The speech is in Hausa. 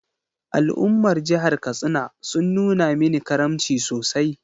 Al’ummar jihar Katsina sun nuna mini karamci sosai.